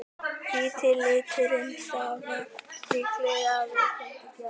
Hvíti liturinn stafar líklega af víkjandi geni.